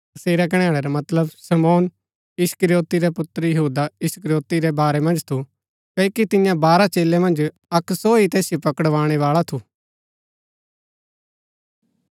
तसेरा कणैणै रा मतलब शमौन इस्करियोती रै पुत्र यहूदा इस्करियोती रै बारै मन्ज थू क्ओकि तियां बारह चेलै मन्ज अक्क सो ही तैसिओ पकड़वाणै बाळा थू